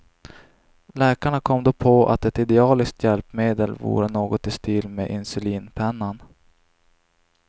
Läkarna kom då på att ett idealiskt hjälpmedel vore något i stil med insulinpennan.